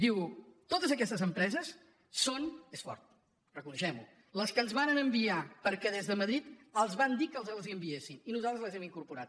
diu totes aquestes empreses són és fort reconeguem ho les que ens varen enviar perquè des de madrid els van dir que els les enviéssim i nosaltres les hi hem incorporat